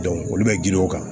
olu bɛ girin o kan